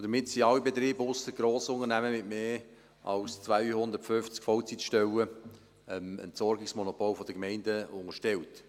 damit sind alle Betriebe, ausser Grossunternehmen mit mehr als 250 Vollzeitstellen, dem Entsorgungsmonopol der Gemeinden unterstellt.